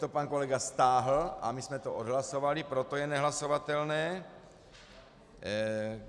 To pan kolega stáhl a my jsme to odhlasovali, proto je nehlasovatelné.